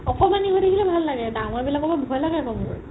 অকমাণি হয় থাকিলে ভাল লাগে ডাঙৰ বিলাকৰ পৰা ভয় লাগে আকৌ মোৰ